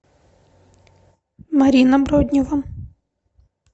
марина броднева